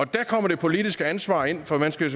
der kommer det politiske ansvar ind for man skal